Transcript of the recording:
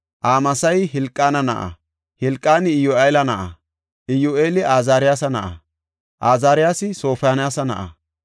Amasayi Helqaana na7a; Helqaani Iyyu7eela na7a; Iyyu7eela Azaariyasa na7a; Azaariyasi Sofoniyaasa na7a;